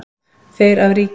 Þeir af ríki